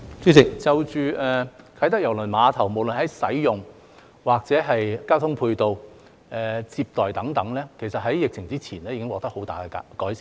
主席，就着啟德郵輪碼頭，無論在使用或交通配套、接待等方面，其實在疫情之前已經獲得很大的改善。